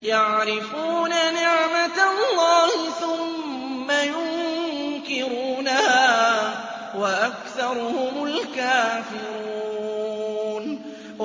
يَعْرِفُونَ نِعْمَتَ اللَّهِ ثُمَّ يُنكِرُونَهَا وَأَكْثَرُهُمُ الْكَافِرُونَ